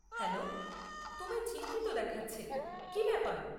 Hello, তোমায় চিন্তিত দেখাচ্ছে, কি ব্যাপার?